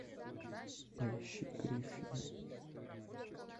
поищи гриффины